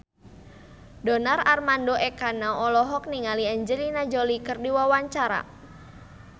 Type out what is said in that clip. Donar Armando Ekana olohok ningali Angelina Jolie keur diwawancara